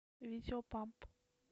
видео памп